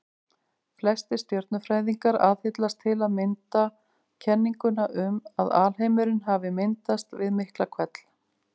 Flestir stjörnufræðingar aðhyllast til að mynda kenninguna um að alheimurinn hafi myndast við Miklahvell.